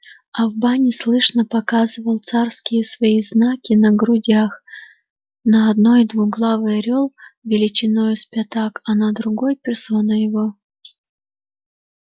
а в бане слышно показывал царские свои знаки на грудях на одной двуглавый орёл величиною с пятак а на другой персона его